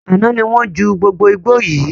Àná ni wọn jù gbogbo igbó yii